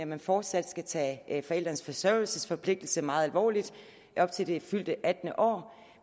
man fortsat skal tage forældrenes forsørgelsesforpligtelse meget alvorligt til det fyldte attende år